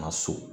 Na so